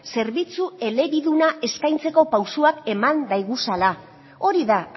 zerbitzu elebiduna eskaintzeko pausuak eman daiguzala hori da